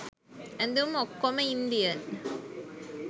ඇදුම් ඔක්කොම ඉන්දියන්